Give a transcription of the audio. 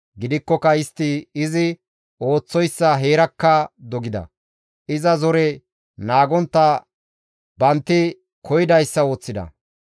Gidikkoka istti izi ooththoyssa heerakka dogida. Iza zore naagontta bantti koyidayssa ooththida.